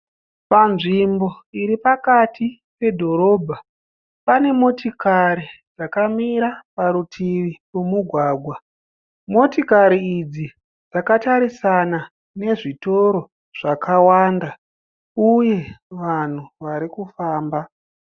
Panzvimbo iri pakati pedhorobha pane motokari dzakamira parutivi pomugwagwa, motokari idzi dzakatarisana nezvitoro zvakawanda uye vanhu vari kufamba.